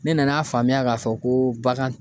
Ne nan'a faamuya k'a fɔ ko bagan